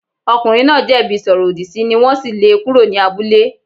Ọkùnrin náà jẹ̀bi ìsọ̀rọ̀-ọ̀dì sí ni wọ́n sì lé e kúrò ní abúlé.